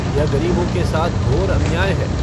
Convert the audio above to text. यह गरीबों के साथ घोर अन्याय है।